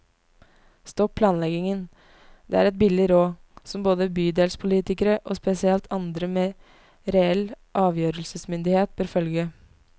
Stopp planleggingen, det er et billig råd, som både bydelspolitikere og spesielt andre med reell avgjørelsesmyndighet bør følge.